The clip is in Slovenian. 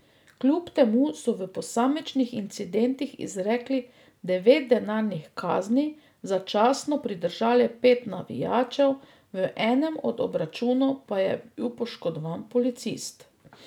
Kljub temu so v posamičnih incidentih izrekli devet denarnih kazni, začasno pridržali pet navijačev, v enem od obračunov pa je bil poškodovan policist.